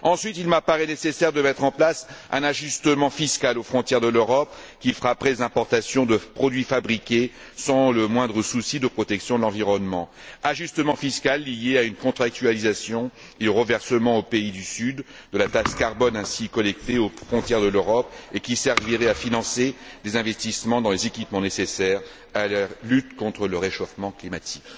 Ensuite, il m'apparaît nécessaire de mettre en place un ajustement fiscal aux frontières de l'Europe qui frapperait les importations de produits fabriqués sans le moindre souci de protection de l'environnement, ajustement fiscal lié à une contractualisation des reversements aux pays du Sud de la taxe carbone ainsi collectée aux frontières de l'Europe et qui servirait à financer des investissements dans les équipements nécessaires à leur lutte contre le réchauffement climatique.